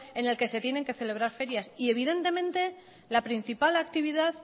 en el que se tienen que celebrar ferias y evidentemente la principal actividad